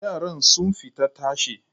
Yaran sun fita tashe.